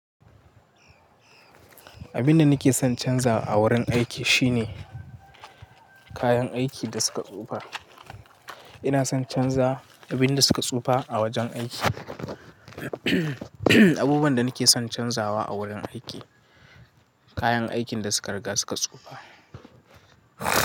Abinda nake son canza a wurin aiki shine, kayan aikin da suka tsufa. Ina son canza abin da suka tsufa a wajen aiki. Abubuwan da nake son canzawa a wurin aiki, kayan aikin da suka riga suka tsufa.